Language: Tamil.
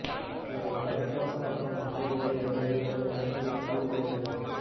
இவரது தலைக்கவசம் மற்றும் மண்டை ஓடு இரண்டையும் ஒரே நேரத்தில் இக்கல் உடைத்தது